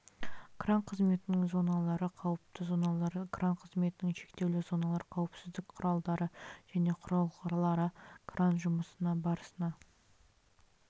кран қызметінің зоналары қауіпті зоналар кран қызметінің шектеулі зоналары қауіпсіздік құралдары және құрылғылары кран жұмысы барысында